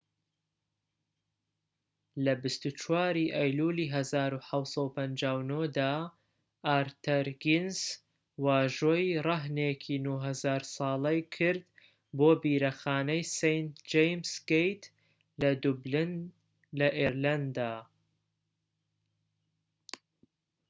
لە ٢٤ ی ئەیلولی 1759 دا ئارتەر گینس واژۆی رەهنێکی ٩٠٠٠ ساڵەی کرد بۆ بیرەخانەی سەینت جەیمس گەیت لە دوبلن لە ئێرلەندا